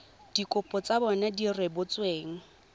dikopo tsa bona di rebotsweng